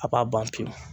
A b'a ban pewu